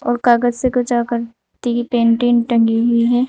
और कागज से कर तीन पेटिंग टंगी हुई हैं।